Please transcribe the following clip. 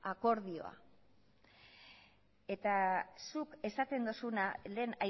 akordioa eta zuk esaten dozuna lehen